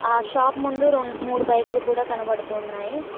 ఆ షాప్ ముందు రో మూడు బైకులు కూడా కనబడుతూ ఉన్నాయి.